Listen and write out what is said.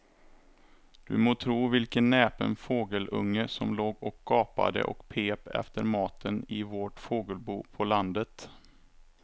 Du må tro vilken näpen fågelunge som låg och gapade och pep efter mat i vårt fågelbo på landet.